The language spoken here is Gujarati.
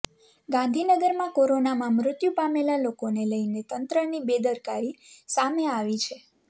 ગાંધીનગરમાં કોરોનામાં મૃત્યુ પામેલા લોકોને લઇને તંત્રની બેદકારી સામે આવી છે